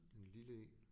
En lille en